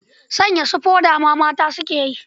Sanya su foda ma mata ke yi.